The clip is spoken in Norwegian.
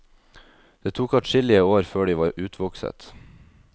Det tok adskillige år før de var utvokset.